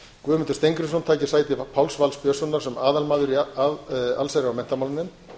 guðmundur steingrímsson taki sæti páls vals björnssonar sem aðalmaður í allsherjar og menntamálanefnd